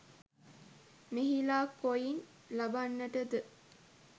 මෙහිලා කොයින් ලබන්නට ද?